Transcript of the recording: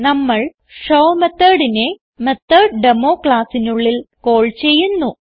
നമ്മൾ ഷോ methodനെ മെത്തോട്ടേമോ ക്ലാസ്സിനുള്ളിൽ കാൾ ചെയ്യുന്നു